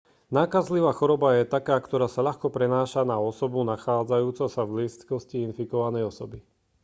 nákazlivá choroba je taká ktorá sa ľahko prenáša na osobu nachádzajúcu sa v blízkosti infikovanej osoby